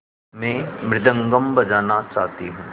मैं मृदंगम बजाना चाहती हूँ